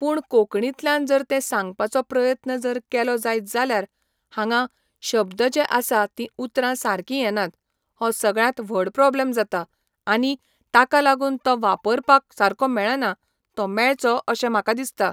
पूण कोंकणींतल्यान जर ते सांगपाचो प्रयत्न जर केलो जायत जाल्यार हांगा शब्द जे आसा तीं उतरां सारकीं येनात हो सगळ्यांत व्हड प्रॉब्लम जाता आनी ताका लागून तो वापरपाक सारको मेळना तो मेळचो अशें म्हाका दिसता